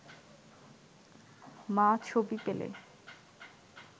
মা ছবি পেলে